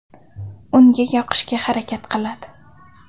Unga yoqishga harakat qiladi.